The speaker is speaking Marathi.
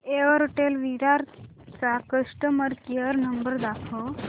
एअरटेल विरार चा कस्टमर केअर नंबर दाखव